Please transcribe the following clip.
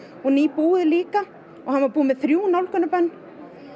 og nýbúið líka og hann var búinn með þrjú nálgunarbönn